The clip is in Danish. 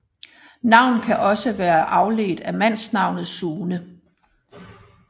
Navnet kan også være afledt af mandsnavn Sune